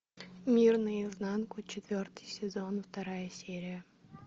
мир наизнанку четвертый сезон вторая серия